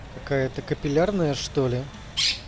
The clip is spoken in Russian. какая-то капиллярная что ли